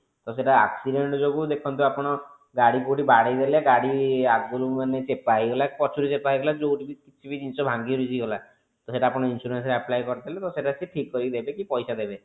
ତ ସେଟା accident ଯୋଗୁ ଦେଖନ୍ତୁ ଆପଣ ଗାଡି କୋଉଠି ବାଡେଇ ହେଲେ ଗାଡି ଆଗରୁ ମାନେ ଚେପା ହେଇଗଲା କି ପଛରୁ ଚେପା ହେଇଗଲା କି କଉଠୁ ବି କିଛି ବି ଜିନିଷ ଭାଙ୍ଗି ରୁଜି ଗଲା ତ ସେଟା ତ ସେଟା ଆପଣ insurance ରେ apply କରିଦେଲେ ତ ସେଟା ସେ ଠିକ କରିକି ଦେବେ କି ପଇସା ଦେବେ